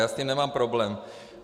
Já s tím nemám problém!